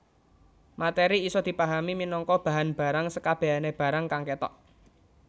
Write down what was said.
Materi isa dipahami minangka bahan barang sekabehane barang kang ketok